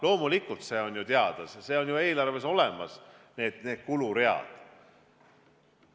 Loomulikult on see ju teada, need on ju eelarves olemas, need kuluread.